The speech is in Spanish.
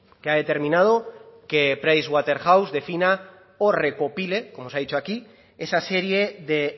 que ha determinado que price waterhouse defina o recopile como se ha dicho aquí esa serie de